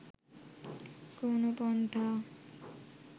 কোনো পন্থা